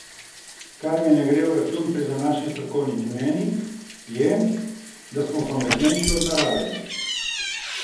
Kar mi ne gre v račun pri današnjih strokovnih mnenjih, je, da smo pametnejši od narave.